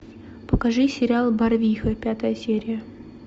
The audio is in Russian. покажи сериал барвиха пятая серия